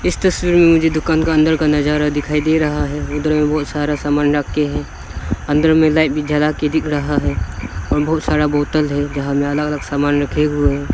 इस तस्वीर में मुझे दुकान का अंदर का नजारा दिखाई दे रहा है उधर में बहोत सारा सामान रख के है अंदर में लाइट भी जला के दिख रहा है और बहुत सारा बोतल है जहां में अलग अलग सामान रखे हुए है।